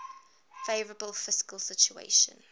favourable fiscal situation